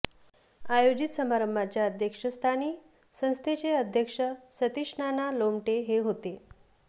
आयोजित समारंभाच्या अध्यक्षस्थानी संस्थेचे अध्यक्ष सतिषनाना लोमटे हे होते